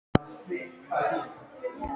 Hver verður skemmtilegastur í viðtölum?